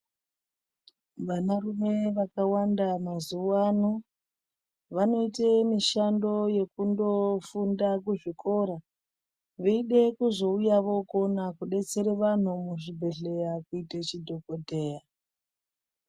Vanarume vakawanda mazuwa ano vanoite mishando yekundofunda kuzvikora, veide kuzouya vookona kudetsere vanhu muzvibhedhleya kuite chidhokodheya.